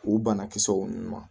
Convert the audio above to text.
U banakisɛw ma